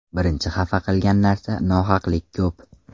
Birinchi xafa qilgan narsa nohaqlik ko‘p.